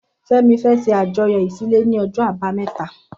Femi fẹ̀ ṣé àjọyọ iṣilé ni ọjọ àbàámẹ̀tá